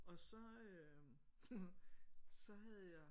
Og så så havde jeg